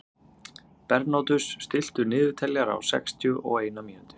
Bernódus, stilltu niðurteljara á sextíu og eina mínútur.